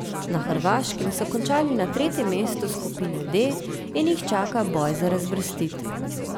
Na Hrvaškem so končali na tretjem mestu skupine D in jih čaka boj za razvrstitev.